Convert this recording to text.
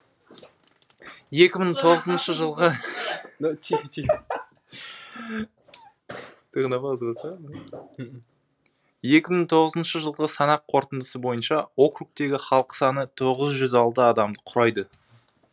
жылғы санақ қорытындысы бойынша округтегі халық саны адамды құрайды